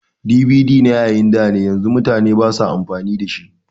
DVD na yayin dane yanzu mutane basa amfani da shi